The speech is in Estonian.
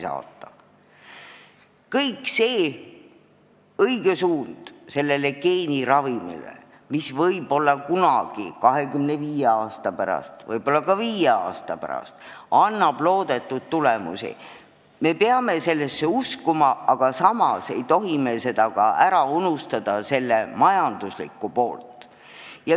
Suund geeniravimite kasutamise poole on õige ja võib-olla 25 aasta pärast, võib-olla ka viie aasta pärast annab see loodetud tulemusi, me peame sellesse uskuma, aga samas ei tohi me ära unustada selle majanduslikku poolt.